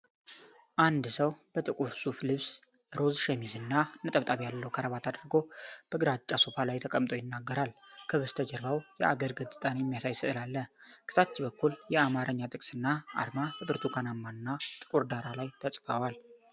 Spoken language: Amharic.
አንድ ሰው በጥቁር ሱፍ ልብስ፣ ሮዝ ሸሚዝ እና ነጠብጣብ ያለው ክራባት አድርጎ በግራጫ ሶፋ ላይ ተቀምጦ ይናገራል። ከበስተጀርባው የአገር ገጽታን የሚያሳይ ሥዕል አለ። ከታች በኩል የአማርኛ ጥቅስ እና አርማ በብርቱካናማ እና ጥቁር ዳራ ላይ ተጽፈዋል።